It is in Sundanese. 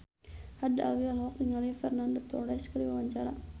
Haddad Alwi olohok ningali Fernando Torres keur diwawancara